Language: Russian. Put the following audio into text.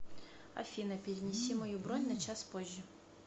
афина перенеси мою бронь на час позже